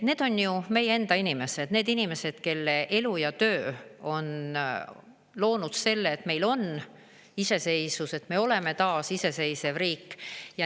Need on ju meie enda inimesed, need inimesed, kelle elu ja töö on loonud selle, et meil on iseseisvus, et me oleme taas iseseisev riik.